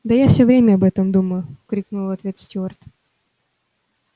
да я всё время об этом думаю крикнул в ответ стюарт